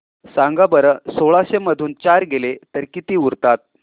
सांगा बरं सोळाशे मधून चार गेले तर किती उरतात